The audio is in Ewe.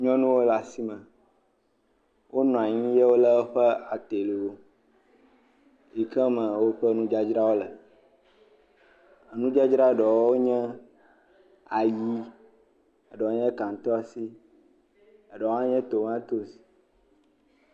Nyɔnuwo le asime. Wonɔ anyi ye wole woƒe adewo yi ke me woƒe nudzadzrawo le. Nudzadzra ɖewo nye ayi, ɖewo nye kaŋtoasi, eɖewo hã nya tomatosi.